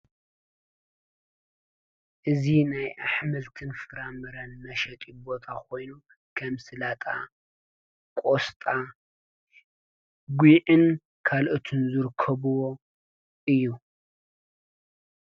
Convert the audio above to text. እዚ ናይ ኣሕምልትን ፍራምረን መሸጢ ቦታ ኾይኑ ከም ሰላጣ፣ ቆስጣ ጒዕን ካልኦትን ዝርከብዎ እዩ።